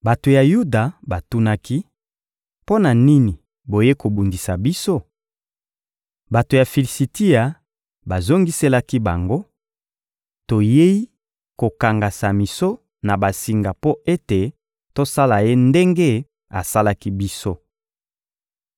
Bato ya Yuda batunaki: — Mpo na nini boyei kobundisa biso? Bato ya Filisitia bazongiselaki bango: — Toyei kokanga Samison na basinga mpo ete tosala ye ndenge asalaki biso.